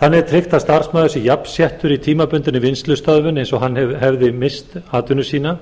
þannig er tryggt að starfsmaður sé jafnsettur í tímabundinni vinnslustöðvun eins og hann hefði misst vinnu sína